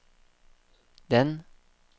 den